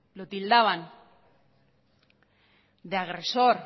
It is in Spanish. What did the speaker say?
lo tildaban de agresor